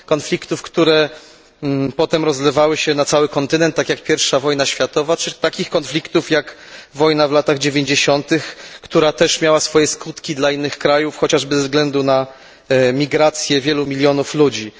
Konfliktów, które potem rozlewały się na cały kontynent, tak jak I wojna światowa czy takich konfliktów jak wojna w latach dziewięćdziesiątych, która też miała swoje skutki dla innych krajów, chociażby ze względu na migrację wielu milionów ludzi.